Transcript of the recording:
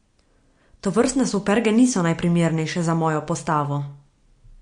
Tovrstne superge niso najprimernejše za mojo postavo.